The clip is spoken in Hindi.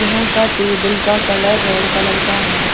यहां का टेबल का कलर रेड कलर का है।